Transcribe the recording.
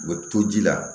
U bɛ to ji la